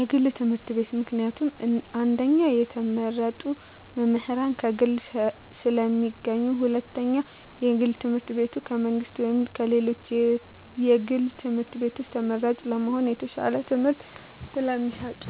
የግል ትምህርት ቤት። ምክንያቱም አንደኛ የተመረጡ መምህራን ከግል ስለሚገኙ ሁለተኛ የግል ትምህርት ቤቱ ከመንግስት ወይም ከሌሎች የግል ትምህርት ቤቶች ተመራጭ ለመሆን የተሻለ ትምህርት ስለሚሰጡ።